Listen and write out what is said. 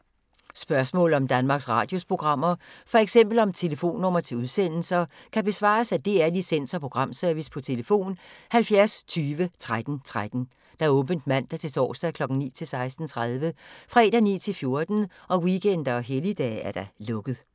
Spørgsmål om Danmarks Radios programmer, f.eks. om telefonnumre til udsendelser, kan besvares af DR Licens- og Programservice: tlf. 70 20 13 13, åbent mandag-torsdag 9.00-16.30, fredag 9.00-14.00, weekender og helligdage: lukket.